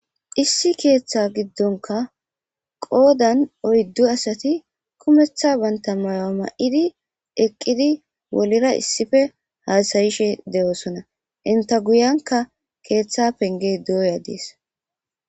issi keeththa giddonka qoodan oyddu asati kumetha banta maya ma7idi eqqidi wolira issife haasayishe de7oosona inta guyanka keeththa penge duoya dees